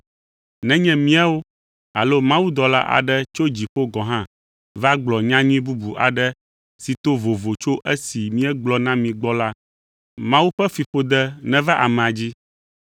Nenye míawo alo mawudɔla aɖe tso dziƒo gɔ̃ hã va gblɔ nyanyui bubu aɖe si to vovo tso esi míegblɔ na mi gbɔ la, Mawu ƒe fiƒode neva amea dzi.